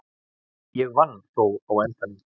Ég vann þó á endanum.